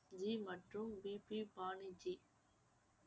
G மற்றும் பிபி பானி ஜி